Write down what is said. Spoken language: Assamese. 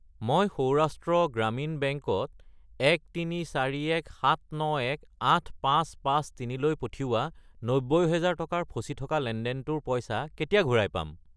মই সৌৰাষ্ট্ৰ গ্ৰামীণ বেংক ত 1341791,8553 লৈ পঠিওৱা 90000 টকাৰ ফচি থকা লেনদেনটোৰ পইচা কেতিয়া ঘূৰাই পাম?